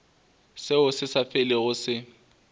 seo se sa felego se